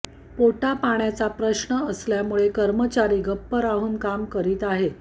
पोटापाण्याचा प्रश्न असल्यामुळे कर्मचारी गप्प राहून काम करीत आहेत